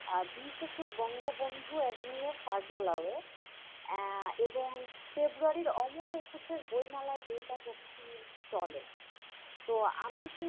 আহ বিশ একুশ বঙ্গবন্ধু এডমিনের কার্যালয়ে আহ এবং ফেব্রুয়ারির অমর একুশের বইমেলায় জয়িতা প্রকাশনীর stall য়ে তো আমি কিন্তু,